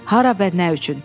Hara və nə üçün?